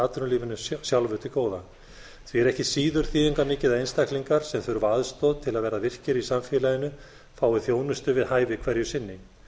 atvinnulífinu sjálfu til góða því er ekki síður þýðingarmikið að einstaklingar sem þurfa aðstoð til að verða virkir í samfélaginu fái þjónustu við hæfi hverju sinni